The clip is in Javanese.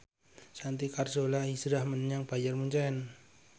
Santi Carzola hijrah menyang Bayern Munchen